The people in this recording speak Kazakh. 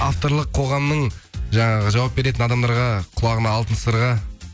авторлық қоғамның жаңағы жауап беретін адамдарға кұлағына алтын сырға